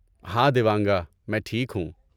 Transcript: ہائے دیوانگا! میں ٹھیک ہوں۔